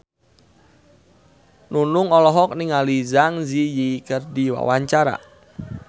Nunung olohok ningali Zang Zi Yi keur diwawancara